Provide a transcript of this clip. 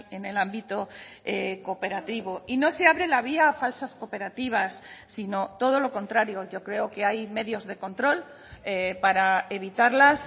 en el ámbito cooperativo y no se abre la vía a falsas cooperativas sino todo lo contrario yo creo que hay medios de control para evitarlas